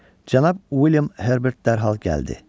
Cənab William Herbert dərhal gəldi